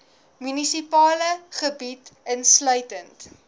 munisipale gebied insluitende